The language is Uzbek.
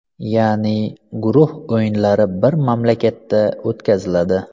Ya’ni guruh o‘yinlari bir mamlakatda o‘tkaziladi.